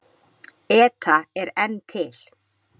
ETA er enn til.